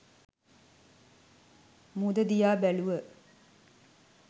මුහුද දිහා බැලුව.